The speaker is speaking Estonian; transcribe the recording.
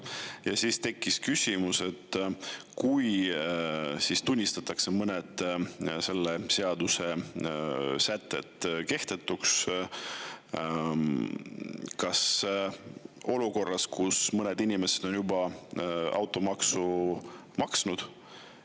Ja siis tekkis küsimus, olukorras, kui tunnistatakse mõned selle seaduse sätted kehtetuks, aga mõned inimesed on juba automaksu maksnud.